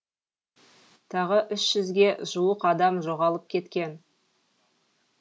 тағы үш жүзге жуық адам жоғалып кеткен